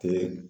Te